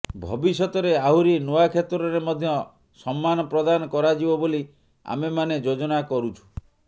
ଭବିଷ୍ୟତରେ ଆହୁରି ନୂଆ କ୍ଷେତ୍ରରେ ମଧ୍ୟ ସମ୍ମାନ ପ୍ରଦାନ କରାଯିବ ବୋଲି ଆମେମାନେ ଯୋଜନା କରୁଛୁ